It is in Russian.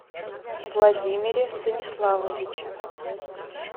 владимире станиславовиче